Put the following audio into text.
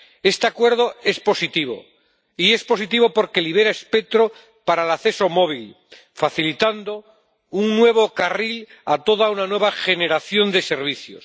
Este acuerdo es positivo, y es positivo porque libera espectro para el acceso móvil, facilitando un nuevo carril a toda una nueva generación de servicios.